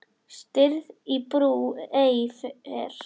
Stirð í brú ei fer.